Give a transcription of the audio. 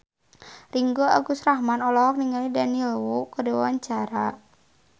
Ringgo Agus Rahman olohok ningali Daniel Wu keur diwawancara